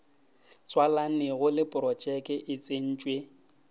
tswalanego le projeke o tsentšwe